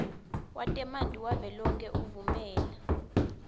wetemanti wavelonkhe uvumela